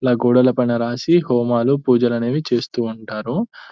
ఇలా గోడల పైన రాసి హోమాలు పూజలు అనేది చేస్తుంటారు.